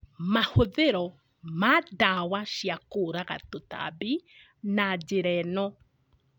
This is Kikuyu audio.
Mahũthĩro ma ndawa cia kũraga tũtambi na njĩra ĩno